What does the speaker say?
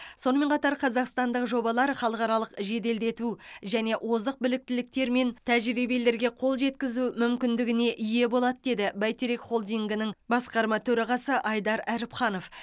сонымен қатар қазақстандық жобалар халықаралық жеделдету және озық біліктіліктер мен тәжірибелерге қол жеткізу мүмкіндігіне ие болады деді бәйтерек холдингінің басқарма төрағасы айдар әріпханов